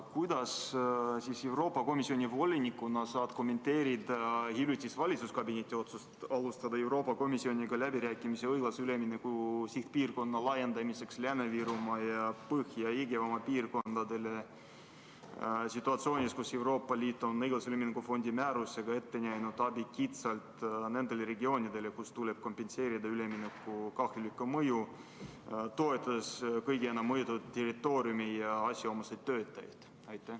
Kuidas sa Euroopa Komisjoni volinikuna kommenteerid hiljutist valitsuskabineti otsust alustada Euroopa Komisjoniga läbirääkimisi õiglase ülemineku sihtpiirkonna laiendamiseks Lääne-Virumaale ja Põhja-Jõgevamaale situatsioonis, kus Euroopa Liit on õiglase ülemineku fondi määrusega ette näinud abi kitsalt nendele regioonidele, kus tuleb kompenseerida ülemineku kahjulikku mõju, toetades kõige enam mõjutatud territooriumi ja asjaomaseid töötajaid?